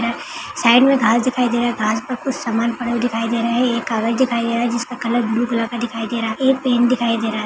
side मे घास दिखाई दे रहा है घास मे कुछ समान पड़ा हुआ दिखाई दे रहा है एक कागज दिखाई दे रहा है जिसका कलर ब्लू कलर का दिखाई दे रहा एक टैंक दिखाई दे रहा --